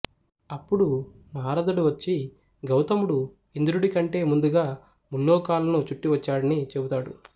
అప్పుడు నారదుడు వచ్చి గౌతముడు ఇంద్రుడికంటే ముందుగా ముల్లోకాలను చుట్టి వచ్చాడని చెపుతాడు